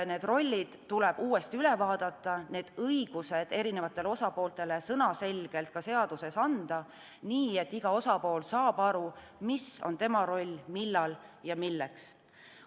Need rollid tuleb uuesti üle vaadata, need õigused erinevatele osapooltele sõnaselgelt ka seaduses anda, nii et iga osapool saab aru, mis on tema roll, millal ja milleks.